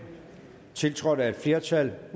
tiltrådt af et flertal